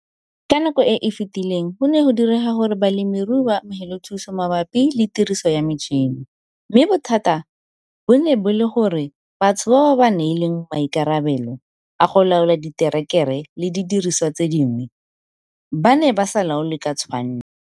Ka nako e e fetileng, go ne go direga gore balemirui ba amogele thuso mabapi le tiriso ya metšhene, mme bothata bo ne bo le gore batho bao ba ba neng ba neilwe maikarabelo a go laola diterekere le didiriswa tse dingwe ba ne ba sa laole ka tshwanno.